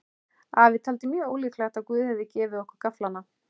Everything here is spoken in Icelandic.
Afi taldi mjög ólíklegt að Guð hefði gefið okkur gafflana.